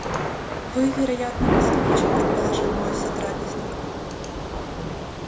вы вероятно москвич предположил мой сотрапезник